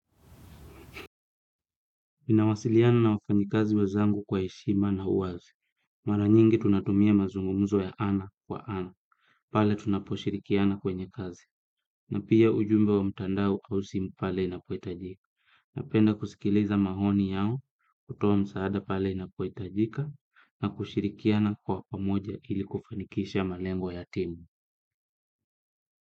Ninawasiliana na wafanyikazi wezangu kwa heshima na uwazi. Mara nyingi tunatumia mazungumuzo ya ana kwa ana. Pale tunaposhirikiana kwenye kazi. Na pia ujumbe wa mtandao au simu pale na inapohitajika. Napenda kusikiliza mahoni yao kutoa msaada pale na inapoitajika na kushirikiana kwa pamoja ili kufanikisha malengo ya timu.